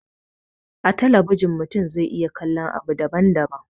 A talabijin mutum zai iya kallon abu daban daban